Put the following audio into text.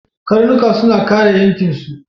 Karnuka suna kare yankinsu.